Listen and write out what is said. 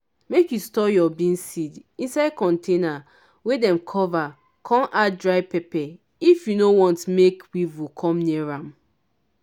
make you store your bean seeds inside container wey dem cover com add dry pepper if you nor want make weevil com near am.